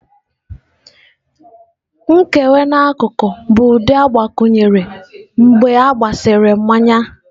Nkewa n'akụkụ bụ ụdị agbakwunyere mgbe a gbasịrị mmanya.